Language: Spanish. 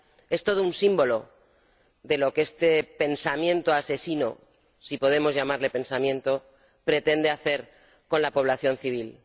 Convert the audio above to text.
Es todo un símbolo de lo que este pensamiento asesino —si podemos llamarle pensamiento— pretende hacer con la población civil.